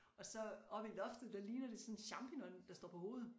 Og så oppe i loftet der ligner det sådan en champignon der står på hovedet